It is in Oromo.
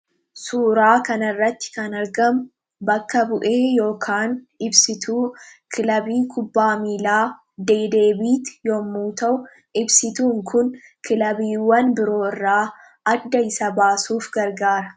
Suuraa kana irratti kan argamu, bakka bu'ee yookaan ibsituu kilabii kubbaa miilaa Deddebiti yemmuu ta'u, ibsituun Kun kilabiiwwan biroo irraa adda isa baasuuf gargaara.